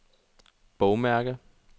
bogmærke